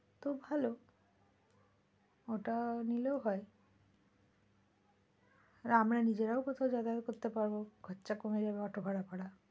তো ভালো ওটা নিলেও হয় আর আমরা নিজেরাও কোথাও যাতায়াত করতে পারবো, খরচা কমে যাবে অটো ভাড়া ফারা।